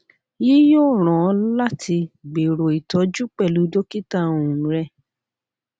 yii yoo ran ọ lati gbero itọju pẹlu dokita um rẹ